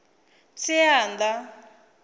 tsianda